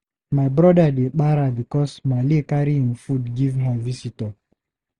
My brother dey para bicos Maale carry im food give her visitor.